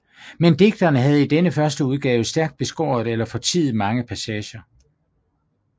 Men digteren havde i denne førsteudgave stærkt beskåret eller fortiet mange passager